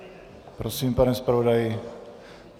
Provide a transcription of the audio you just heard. Prosím, pane zpravodaji.